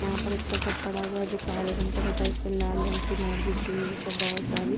यहाँ पर एक तखत पड़ा हुआ है जो काले रंग का तथा इस पर लाल रंग की मैट बिची हुई है जिस पर बहुत सारी --